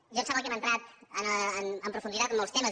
em sembla que hem entrat amb profunditat en molts temes